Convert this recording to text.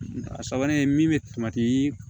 A sabanan ye min bɛ